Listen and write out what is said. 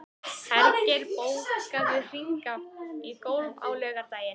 Hergeir, bókaðu hring í golf á laugardaginn.